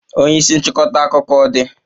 Onye isi nchịkọta akụkọ ọ dị?